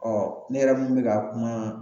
ne yɛrɛ mun bɛ ka kuma